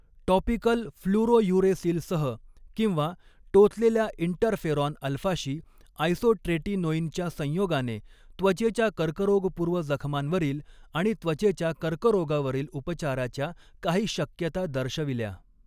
Topical फ्लुरोयुरेसिलसह किंवा टोचलेल्या इन्टरफेराॅन अल्फाशी आयसोट्रेटिनोइनच्या संयोगाने त्वचेच्या कर्करोगपूर्व जखमांवरील आणि त्वचेच्या कर्करोगावरील उपचाराच्या काही शक्यता दर्शविल्या.